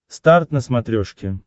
старт на смотрешке